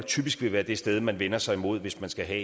typisk være det sted man vender sig imod hvis man skal have